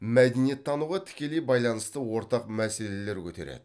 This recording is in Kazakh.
мәдениеттануға тікелей байланысты ортақ мәселелер көтереді